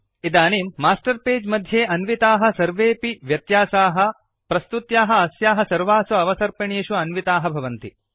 इदानीं master page मध्ये अन्विताः सर्वेऽपि व्यत्यासाः प्रस्तुत्याः अस्याः सर्वासु अवसर्पिणीषु अन्विताः भवन्ति